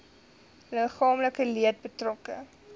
liggaamlike leed betrokke